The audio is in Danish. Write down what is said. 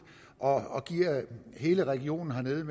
og giver hele regionen hernede et